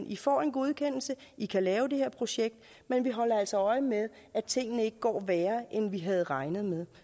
i får en godkendelse i kan lave det her projekt men vi holder altså øje med at tingene ikke går værre end vi havde regnet med